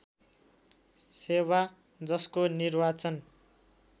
सेवा जसको निर्वाचन